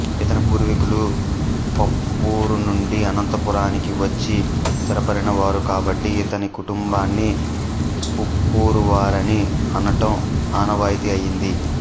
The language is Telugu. ఇతని పూర్వీకులు పప్పూరు నుండి అనంతపురానికి వచ్చి స్థిరపడినవారు కాబట్టి ఇతని కుటుంబాన్ని పప్పూరువారని అనటం ఆనవాయితీ అయింది